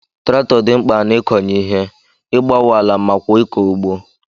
Traktọ di mkpa na ikọnye ihe, igbawo ala makwa ikọ ugbo.